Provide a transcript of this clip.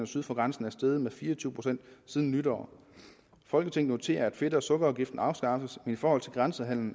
syd for grænsen er steget med fire og tyve procent siden nytår folketinget noterer at fedt og sukkerafgiften afskaffes men i forhold til grænsehandel